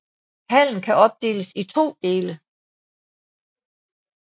Hallen kan opdeles i to dele